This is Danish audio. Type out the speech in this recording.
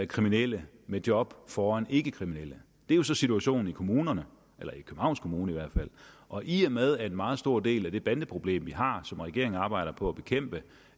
kriminelle med job foran ikkekriminelle det er jo så situationen i kommunerne eller i københavns kommune i hvert fald og i og med at en meget stor del af det bandeproblem vi har og som regeringen arbejder på at bekæmpe